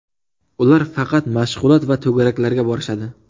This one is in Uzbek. Ular faqat mashg‘ulot va to‘garaklarga borishadi”.